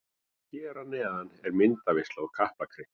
Hér að neðan er myndaveisla úr Kaplakrika.